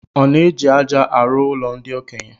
Ọ na-eji aja arụ ụlo ndi okenye?